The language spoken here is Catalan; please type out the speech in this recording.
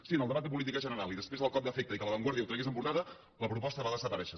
sí en el debat de política general i després del cop d’efecte i que la vanguardia ho tragués en portada la proposta va desaparèixer